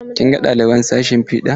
Kin ga ɗaliban sashin fiɗa?